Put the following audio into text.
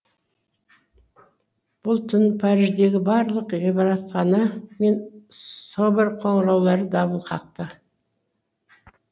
бұл түні париждегі барлық ғибадатхана мен собор қоңыраулары дабыл қақты